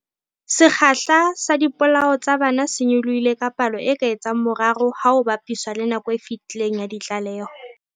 Sekgahla sa dipolao tsa bana se nyolohile ka palo e ka etsang boraro ha ho bapiswa le nakong e fetileng ya ditlaleho.